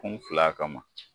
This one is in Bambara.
An fila kama.